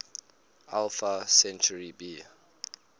alpha centauri b